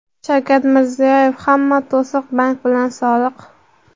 Shavkat Mirziyoyev: "Hamma to‘siq — bank bilan soliq".